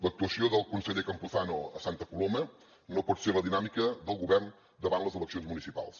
l’actuació del conseller campuzano a santa coloma no pot ser la dinàmica del govern davant les eleccions municipals